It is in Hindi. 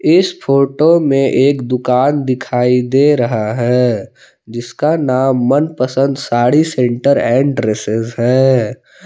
इस फोटो मे एक दुकान दिखाई दे रहा है जिसका नाम Man Pasand sari centre and dresses है।